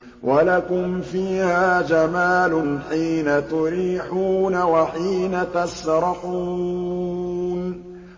وَلَكُمْ فِيهَا جَمَالٌ حِينَ تُرِيحُونَ وَحِينَ تَسْرَحُونَ